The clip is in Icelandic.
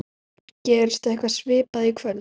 Gerist eitthvað svipað í kvöld?